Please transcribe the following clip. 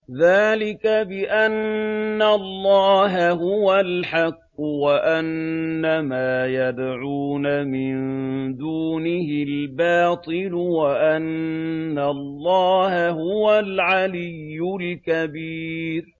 ذَٰلِكَ بِأَنَّ اللَّهَ هُوَ الْحَقُّ وَأَنَّ مَا يَدْعُونَ مِن دُونِهِ الْبَاطِلُ وَأَنَّ اللَّهَ هُوَ الْعَلِيُّ الْكَبِيرُ